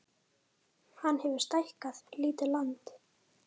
Hann hefur stækkað lítið land